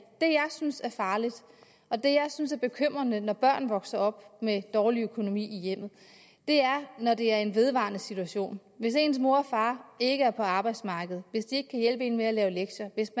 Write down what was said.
jeg synes er farligt og det jeg synes er bekymrende når børn vokser op med dårlig økonomi i hjemmet er når det er en vedvarende situation hvis ens mor og far ikke er på arbejdsmarkedet hvis de ikke kan hjælpe en med at lave lektier hvis